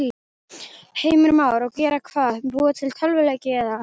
Heimir Már: Og gera hvað, búa til tölvuleiki eða?